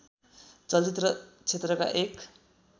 चलचित्र क्षेत्रका एक